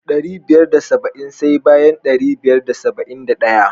Dari biyar da saba'in sai bayan ɗari biyar da saba'in da ɗaya.